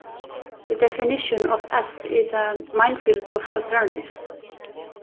The definition of s is a minefield of alternatives.